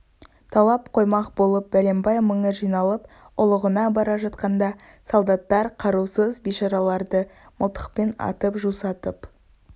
талап қоймақ болып бәленбай мыңы жиналып ұлығына бара жатқанда солдаттар қарусыз бейшараларды мылтықпен атып жусатып